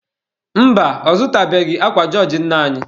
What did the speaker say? Mba, ọ zụtabeghị akwa jọọjị nne anyị.